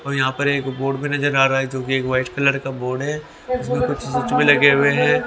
और यहां पर एक बोर्ड भी नजर आ रहा है जो कि एक व्हाइट कलर का बोर्ड है। उसमें कुछ लगे हुए हैं।